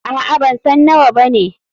Aa.bansan nawa bane.